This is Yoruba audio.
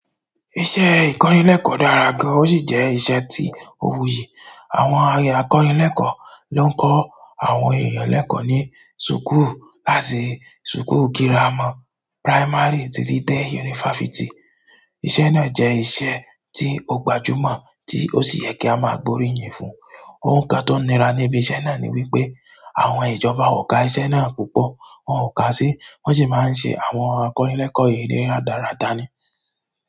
Iṣẹ́ ìkọ́nilẹ́kọ̀ọ́ dára gan, ó sì jẹ́ iṣẹ́ tí ó wuyì. Àwọn akọ́nilẹ́kọ̀ọ́ ló ń kọ́ àwọn èèyàn lẹ́kọ̀ọ́ ní sùkúù láti sùkúù gírámà, primary títí dé yunifásítì. Iṣẹ́ náà je iṣẹ́ ti o gbajumo, ti o si ye ki a maa gbe oriyin fún. Ohun kan tó nira níbi iṣẹ́ náà ni wípé àwọn ìjọba ò ka iṣẹ́ náà púpọ̀, wọn ò ka sí, wọ́n sì máa ń ṣe àwọn akọ́nilẹ́kọ̀ọ́ yìí ní rádarádá ni.